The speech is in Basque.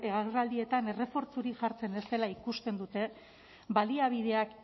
agerraldietan errefortzurik jartzen ez dela ikusten dute baliabideak